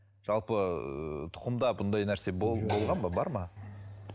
жалпы тұқымда бұндай нәрсе болған ба бар ма